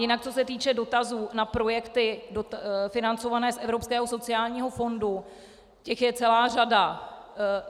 Jinak co se týče dotazů na projekty financované z Evropského sociálního fondu, těch je celá řada.